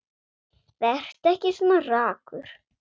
Vertu ekki svona ragur.